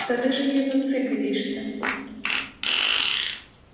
да ты же ей в отцы годишься